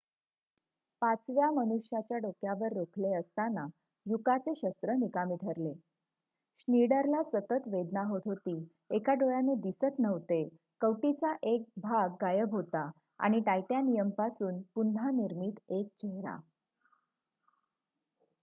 पाचव्या मनुष्याच्या डोक्यावर रोखले असताना युकाचे शस्त्र निकामी ठरले श्नीडरला सतत वेदना होत होती एका डोळ्याने दिसत नव्हते कवटीचा एक भाग गायब होता आणि टायटॅनियमपासून पुन्हा निर्मित एक चेहरा